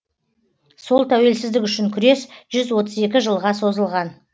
сол тәуелсіздік үшін күрес жүз отыз екі жылға созылған